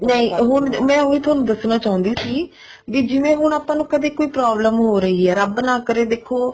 ਨਹੀਂ ਹੁਣ ਮੈਂ ਉਹੀ ਥੋਨੂੰ ਦੱਸਣਾ ਚਾਹੁੰਦੀ ਸੀ ਵੀ ਜਿਵੇਂ ਹੁਣ ਆਪਾਂ ਨੂੰ ਕਦੇ ਕੋਈ problem ਹੋ ਰਹੀ ਹੈ ਰੱਬ ਨਾ ਕਰੇ ਦੇਖੋ